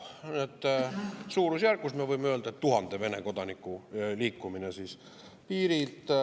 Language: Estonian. Me võime öelda, et suurusjärgus 1000 Vene kodanikku liikus üle piiri.